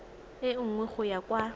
e nngwe go ya kwa